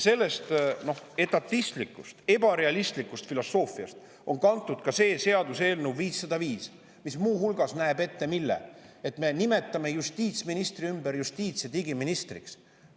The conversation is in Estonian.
Sellest etatistlikust, ebarealistlikust filosoofiast on kantud ka seaduseelnõu 505, mis muu hulgas näeb ette, et me nimetame justiitsministri ümber justiits‑ ja digiministriks.